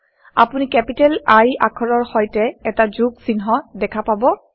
আপুনি capital I capital I আখৰৰ সৈতে এটা যোগ চিন দেখা পাব